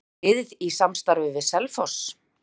Er liðið í samstarfi við Selfoss?